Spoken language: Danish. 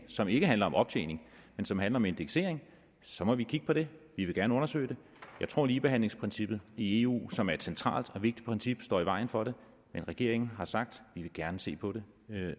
som ikke handler om optjening men som handler om indeksering så må vi kigge på det vi vil gerne undersøge det jeg tror ligebehandlingsprincippet i eu som er et centralt og vigtigt princip står i vejen for det men regeringen har sagt at den gerne vil se på det